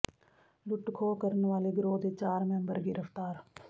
ਲੁੱਟ ਖੋਹ ਕਰਨ ਵਾਲੇ ਗਰੋਹ ਦੇ ਚਾਰ ਮੈਂਬਰ ਗ੍ਰਿਫ਼ਤਾਰ